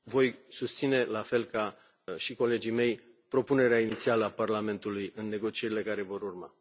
Voi susține, la fel ca și colegii mei, propunerea inițială a Parlamentului în negocierile care vor urma.